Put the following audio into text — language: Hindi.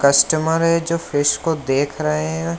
कस्टमर है जो फेस को देख रहे है।